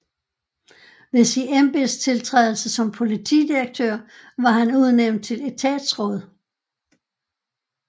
Ved sin embedstiltrædelse som politidirektør var han udnævnt til etatsråd